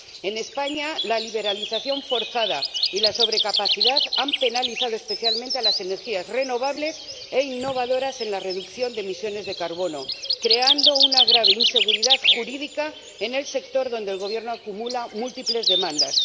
En España, la liberalización forzada y la sobrecapacidad han penalizado especialmente a las energías renovables e innovadoras en la reducción de emisiones de carbono, creando una grave inseguridad jurídica en el sector, donde el Gobierno acumula múltiples demandas.